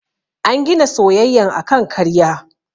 An gina soyayyan akan karya.